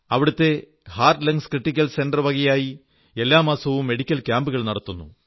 അവിടത്തെ heart lungs critical centre വകയായി എല്ലാ മാസവും മെഡിക്കൽ ക്യാമ്പുകൾ നടത്തുന്നു